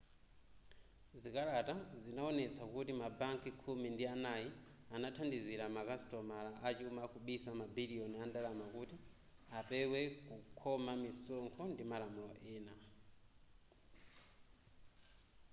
zikalata zinaonetsa kuti ma banki khumi ndi anayi anathandizila ma kasitomala achuma kubisa ma biliyoni a ndalama kuti apewe kukhoma misonkho ndi malamulo ena